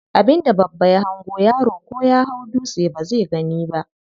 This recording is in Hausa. Abin da babba ya hango yaro ko ya hau dutse bazai gani ba.